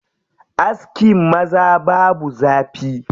Askin maza babu zafi.